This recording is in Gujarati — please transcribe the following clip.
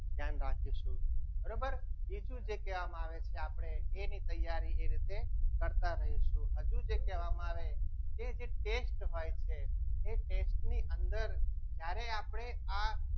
ધ્યાન રાખીશું બરોબર બીજું જે કહેવામાં આવે છે કે આપણે એની તૈયારી એ રીતે કરતા રહીશું હજુ જે કહેવામાં આવે જે test હોય છે એ test ની અંદર જ્યારે આપણે આ